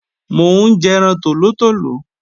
Mò ń jẹran tòlótòló